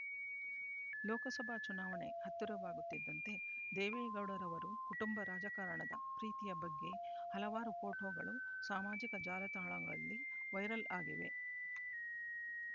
ಲೋಕಸಭಾ ಚುನಾವಣೆ ಹತ್ತಿರವಾಗುತ್ತಿದ್ದಂತೆ ದೇವೇಗೌಡರವರು ಕುಟುಂಬ ರಾಜಕಾರಣದ ಪ್ರೀತಿಯ ಬಗ್ಗೆ ಹಲವಾರು ಫೋಟೋಗಳು ಸಾಮಾಜಿಕ ಜಾಲತಾಣಗಳಲ್ಲಿ ವೈರಲ್ ಆಗಿವೆ